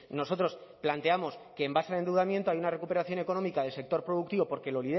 nosotros planteamos que en base al endeudamiento hay una recuperación económica del sector productivo porque